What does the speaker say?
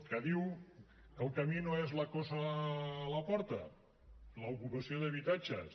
que diu que el camí no és la coça a la porta l’ocupació d’habitatges